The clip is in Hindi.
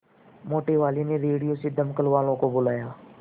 मोटेवाले ने रेडियो से दमकल वालों को बुलाया